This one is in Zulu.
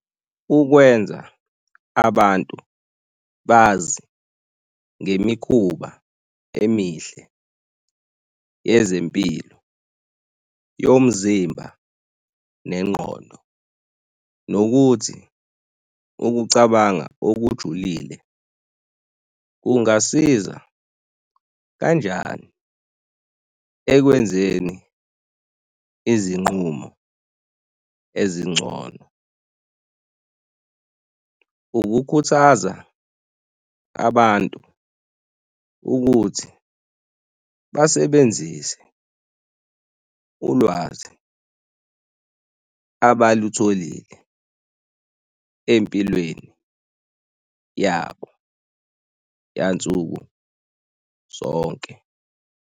Ukwenza abantu bazi ngemikhuba emihle yezempilo, yomzimba nengqondo nokuthi ukucabanga okujulile kungasiza kanjani ekwenzeni izinqumo ezingcono. Ukukhuthaza abantu ukuthi basebenzise ulwazi abalutholile empilweni yabo yansuku zonke.